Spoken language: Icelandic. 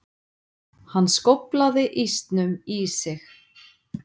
Hann skóflaði ísnum í sig.